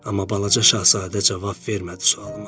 Amma balaca Şahzadə cavab vermədi sualıma.